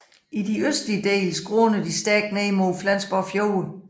I de østlige dele skråner de stærkt ned mod Flensborg Fjord